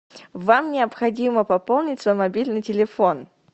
вам необходимо пополнить свой мобильный телефон